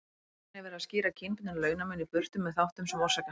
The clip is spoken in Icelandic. Í raun er verið að skýra kynbundinn launamun í burtu með þáttum sem orsaka hann.